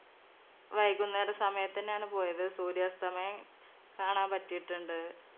വൈകുന്നേരം സമയത്തന്നെയാണ് പോയത് സൂര്യാസ്തമയം കാണാൻ പറ്റിട്ടുണ്ട്